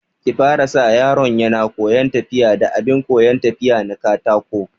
Ki fara sa yaron yana koyan tafiya da abin koyan tafiya na katako